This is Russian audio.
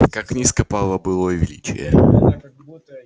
как низко пало былое величие